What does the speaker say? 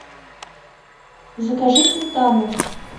закажи сметану